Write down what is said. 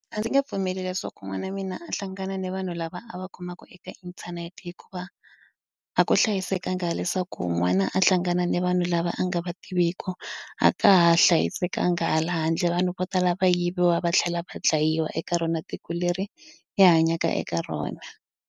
A ndzi nge pfumeli leswaku n'wana wa mina a hlangana ni vanhu lava a va kumaka eka inthanete hikuva a ku hlayisekanga leswaku n'wana a hlangana ni vanhu lava a nga va tiviku a ka ha hlayisekanga hala handle vanhu vo tala va yiviwa va tlhela va dlayiwa eka rona tiko leri hi hanyaka eka rona.